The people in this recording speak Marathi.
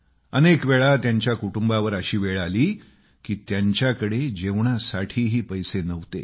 अनेक वेळा त्यांच्या कुटुंबावर अशी वेळ आली की त्यांच्याकडे जेवणासाठीही पैसे नव्हते